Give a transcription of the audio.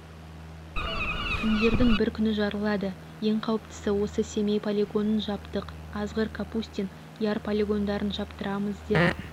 күндердің бір күні жарылады ең қауіптісі осы семей полигонын жаптық азғыр капустин яр полигондарын жаптырамыз деп